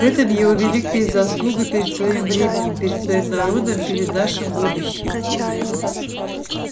в этом его великая заслуга перед своим временем перед своим народом перед нашим будущим